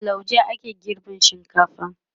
da lauje ake girban shinkafa